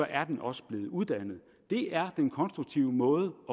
er den også blevet uddannet det er den konstruktive måde